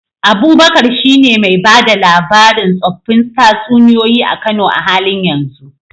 Abubakar shine mai ba da labarin tsoffin tatsuniyoyi a Kano a halin yanzu.